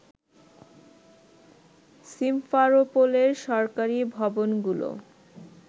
সিমফারোপোলের সরকারি ভবনগুলো